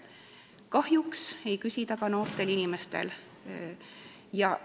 Kahjuks ei küsi see vanusest, hooldusvajadus võib tekkida ka noortel inimestel.